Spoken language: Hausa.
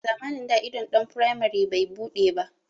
A zamanin da idon ɗan firamari bai buɗe ba